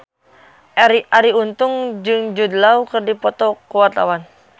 Arie Untung jeung Jude Law keur dipoto ku wartawan